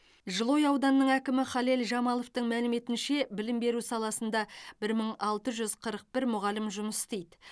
жылыой ауданының әкімі халел жамаловтың мәліметінше білім беру саласында бір мың алты жүз қырық бір мұғалім жұмыс істейді